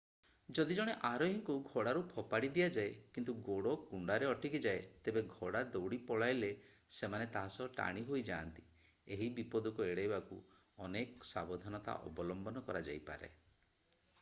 ଯଦି ଜଣେ ଆରୋହୀଙ୍କୁ ଘୋଡ଼ାରୁ ଫୋପାଡି ଦିଆଯାଏ କିନ୍ତୁ ଗୋଡ଼ କୁଣ୍ଡାରେ ଅଟକିଯାଏ ତେବେ ଘୋଡ଼ା ଦୌଡ଼ି ପଳାଇଲେ ସେମାନେ ତା’ ସହ ଟାଣି ହୋଇଯାଆନ୍ତି। ଏହି ବିପଦକୁ ଏଡ଼ାଇବାକୁ ଅନେକ ସାବଧାନତା ଅବଲମ୍ବନ କରାଯାଇପାରେ।